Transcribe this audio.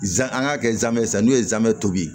Zan an k'a kɛ zamɛ san n'u ye zaamɛ tobi